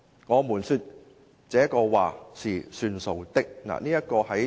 我們說這個話是算數的。